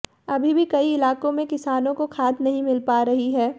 अभी भी कई इलाकों में किसानों को खाद नहीं मिल पा रही है